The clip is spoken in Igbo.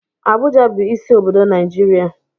Abuja bụ isi obodo Naijiria.